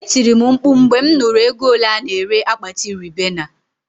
Etiri m mkpu mgbe mụ nụrụ ego ole a-na ere akpati Ribena